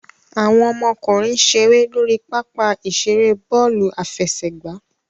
Awọn ọmọkunrin n ṣere lori papa-iṣere bọọlu afẹsẹgba